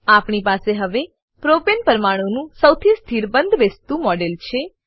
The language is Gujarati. આપણી પાસે હવે પ્રોપને પ્રોપેન પરમાણુનું સૌથી સ્થિર બંધબેસતું મોડેલ છે